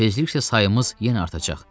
Tezliklə sayımız yenə artacaq.